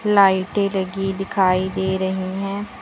लाइटें लगी दिखाई दे रही है।